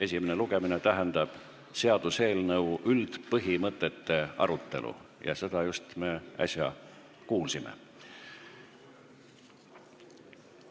Esimene lugemine tähendab seaduseelnõu üldpõhimõtete arutelu ja seda me just äsja kuulsime.